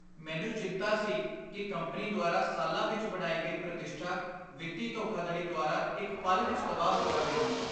ਮੈਨੂੰ ਚਿੰਤਾ ਸੀ ਕਿ ਕੰਪਨੀ ਦੁਆਰਾ ਸਾਲਾਂ ਵਿੱਚ ਬਣਾਈ ਗਈ ਪ੍ਰਤਿਸ਼ਠਾ ਵਿੱਤੀ ਧੋਖਾਧੜੀ ਦੁਆਰਾ ਇੱਕ ਪਲ ਵਿੱਚ ਤਬਾਹ ਹੋ ਜਾਵੇਗੀ।